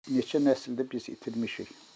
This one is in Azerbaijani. Neçə nəsli də biz itirmişik.